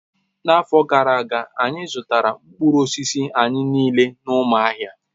N'afọ gara aga, anyị zụtara mkpụrụ osisi anyị niile n'Umuahia